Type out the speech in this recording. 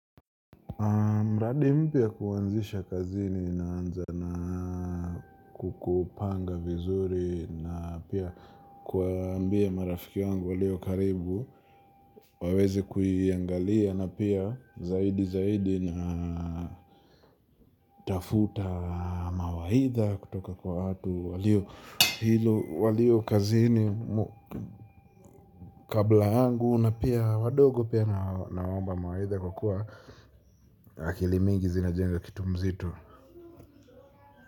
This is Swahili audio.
Mradi mpya kuanzisha kazini na anza na kukupanga vizuri na pia kuambia marafiki wangu walio karibu waweze kuiangalia na pia zaidi zaidi na tafuta mawaidha kutoka kwa watu walio hilo walio kazini kabla yangu. Na pia wadogo pia na waomba mawaidha kwa kuwa akilimingi zinajenga kitu mzito.